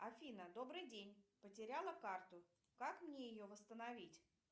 афина добрый день потеряла карту как мне ее восстановить